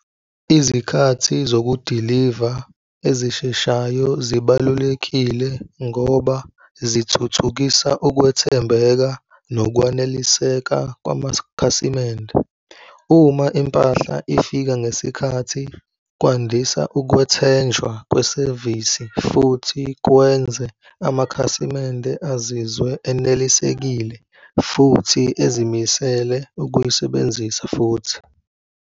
Izikhathi zokudiliva ezisheshayo zibalulekile ngoba zithuthukisa ukwethembeka nokwaneliseka kwamakhasimende. Uma impahla ifika ngesikhathi kwandisa ukwethenjwa kwesevisi futhi kwenze amakhasimende azizwe enelisekile futhi ezimisele ukuyisebenzisa futhi.